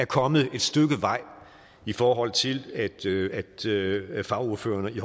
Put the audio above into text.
kommet et stykke vej i forhold til at til at fagordførerne i